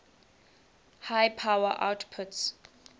high power outputs